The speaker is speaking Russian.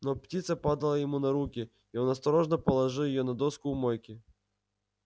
но птица падала ему на руки и он осторожно положил её на доску у мойки